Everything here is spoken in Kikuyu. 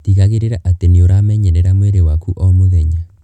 Tigagĩrĩra atĩ nĩ ũramenyerera mwĩrĩ waku o mũthenya.